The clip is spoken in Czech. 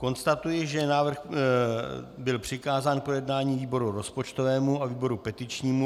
Konstatuji, že návrh byl přikázán k projednání výboru rozpočtovému a výboru petičnímu.